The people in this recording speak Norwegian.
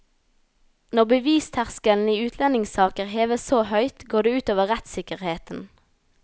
Når bevisterskelen i utlendingssaker heves så høyt, går det ut over rettssikkerheten.